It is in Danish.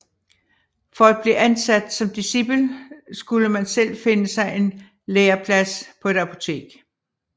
For at blive ansat som discipel skulle man selv finde sig en læreplads på et apotek